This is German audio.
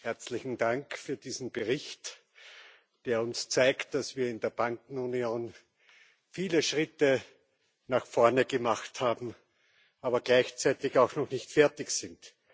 Herzlichen Dank für diesen Bericht, der uns zeigt, dass wir in der Bankenunion viele Schritte nach vorne gemacht haben, aber gleichzeitig auch noch nicht fertig sind.